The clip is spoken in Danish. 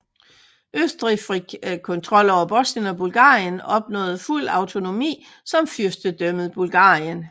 Østrig fik kontrol over Bosnien og Bulgarien opnåede fuld autonomi som Fyrstendømmet Bulgarien